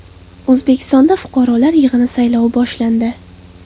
O‘zbekistonda fuqarolar yig‘inlari saylovi boshlandi .